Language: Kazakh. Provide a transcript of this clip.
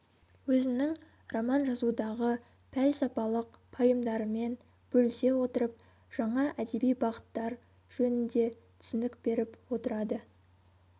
өзінің роман жазудағы пәлсапалық пайымдарымен бөлісе отырып жаңа әдеби бағыттар жөнінде түсінік беріп отырады